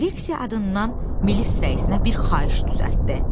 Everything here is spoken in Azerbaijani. Direksiya adından milis rəisinə bir xahiş düzəltdi.